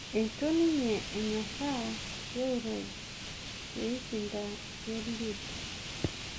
eitu ninye enyoraa geuroj peishinda Eliud